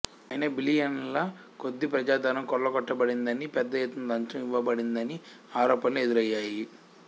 అయినా బిలియన్ల కొద్దీ ప్రజాధనం కొల్లగొట్టబడిందని పెద్ద ఎత్తున లంచం ఇవ్వబడిందని ఆరోపణలు ఎదురైయ్యాయి